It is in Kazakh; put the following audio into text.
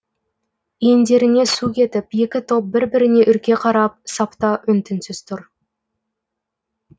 иіндеріне су кетіп екі топ бір біріне үрке қарап сапта үн түнсіз тұр